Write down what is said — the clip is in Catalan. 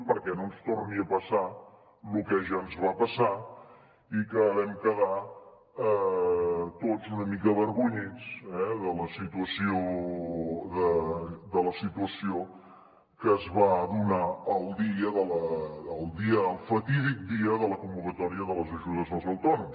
perquè no ens torni a passar lo que ja ens va passar i que vam quedar tots una mica avergonyits per la situació que es va donar el fatídic dia de la convocatòria de les ajudes als autònoms